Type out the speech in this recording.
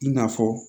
I n'a fɔ